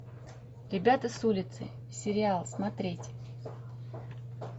ребята с улицы сериал смотреть